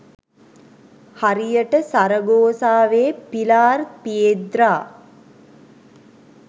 හරියට සරගෝසාවේ Pilar Piedra